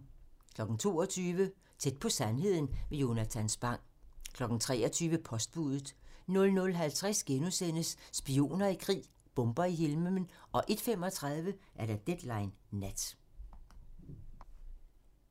22:00: Tæt på sandheden med Jonatan Spang 23:00: Postbudet 00:50: Spioner i krig: Bomber i himlen * 01:35: Deadline Nat